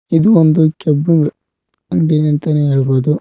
ಇದು ಒಂದು ಕೆಬ್ಬಿಂದ್ ಅಂಗಡಿನೆ ಅಂತಾನೆ ಹೇಳ್ಬೋದು.